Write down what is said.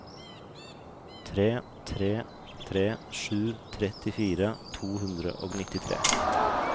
tre tre tre sju trettifire to hundre og nittitre